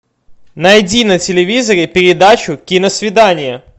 найди на телевизоре передачу киносвидание